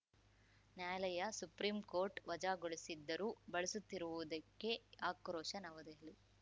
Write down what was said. ನ್ಯಾಯಾಲಯ ಸುಪ್ರೀಂಕೋರ್ಟ್‌ ವಜಾಗೊಳಿಸಿದ್ದರೂ ಬಳಸುತ್ತಿರುವುದಕ್ಕೆ ಆಕ್ರೋಶ ನವದೆಹಲಿ